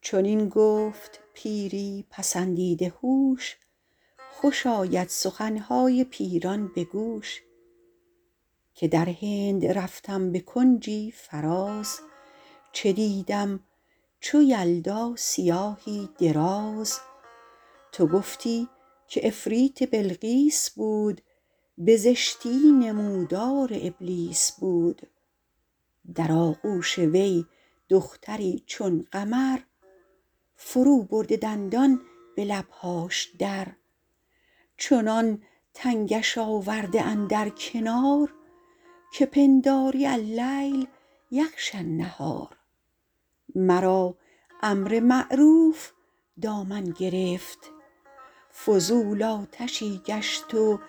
چنین گفت پیری پسندیده هوش خوش آید سخنهای پیران به گوش که در هند رفتم به کنجی فراز چه دیدم چو یلدا سیاهی دراز تو گفتی که عفریت بلقیس بود به زشتی نمودار ابلیس بود در آغوش وی دختری چون قمر فرو برده دندان به لبهاش در چنان تنگش آورده اندر کنار که پنداری اللیل یغشی النهار مرا امر معروف دامن گرفت فضول آتشی گشت و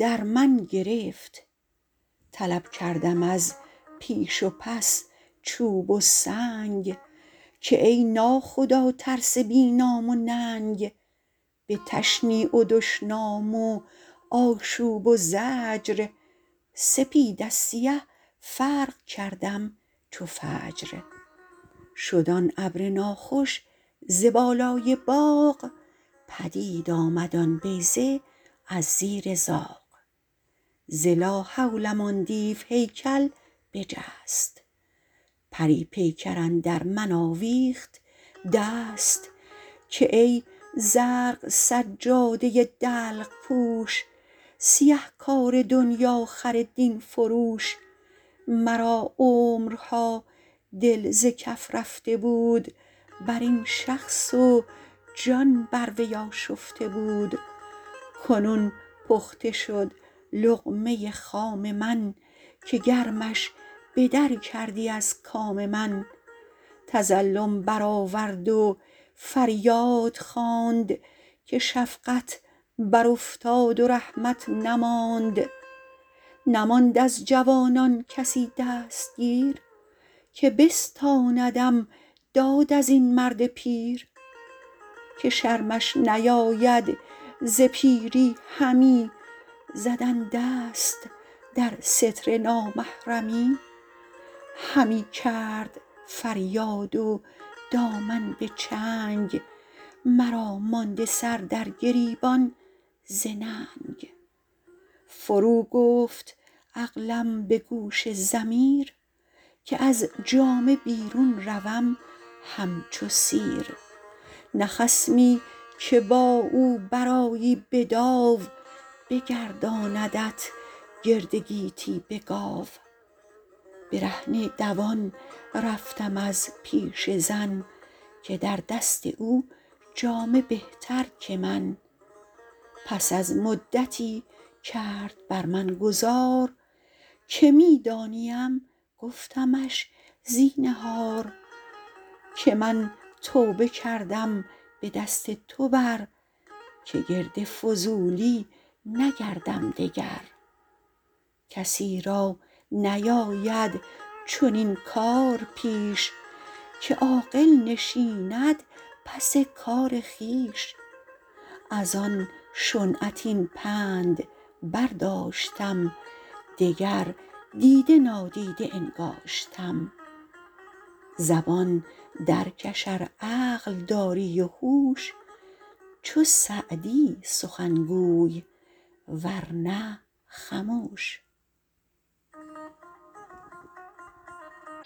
در من گرفت طلب کردم از پیش و پس چوب و سنگ که ای نا خدا ترس بی نام و ننگ به تشنیع و دشنام و آشوب و زجر سپید از سیه فرق کردم چو فجر شد آن ابر ناخوش ز بالای باغ پدید آمد آن بیضه از زیر زاغ ز لا حولم آن دیو هیکل بجست پری پیکر اندر من آویخت دست که ای زرق سجاده دلق پوش سیه کار دنیاخر دین فروش مرا عمرها دل ز کف رفته بود بر این شخص و جان بر وی آشفته بود کنون پخته شد لقمه خام من که گرمش به در کردی از کام من تظلم برآورد و فریاد خواند که شفقت بر افتاد و رحمت نماند نماند از جوانان کسی دستگیر که بستاندم داد از این مرد پیر که شرمش نیاید ز پیری همی زدن دست در ستر نامحرمی همی کرد فریاد و دامن به چنگ مرا مانده سر در گریبان ز ننگ فرو گفت عقلم به گوش ضمیر که از جامه بیرون روم همچو سیر نه خصمی که با او برآیی به داو بگرداندت گرد گیتی به گاو برهنه دوان رفتم از پیش زن که در دست او جامه بهتر که من پس از مدتی کرد بر من گذار که می دانیم گفتمش زینهار که من توبه کردم به دست تو بر که گرد فضولی نگردم دگر کسی را نیاید چنین کار پیش که عاقل نشیند پس کار خویش از آن شنعت این پند برداشتم دگر دیده نادیده انگاشتم زبان در کش ار عقل داری و هوش چو سعدی سخن گوی ور نه خموش